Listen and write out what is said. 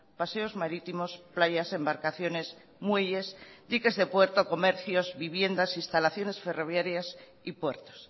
paseos marítimos playas embarcaciones muelles diques de puerto comercios viviendas instalaciones ferroviarias y puertos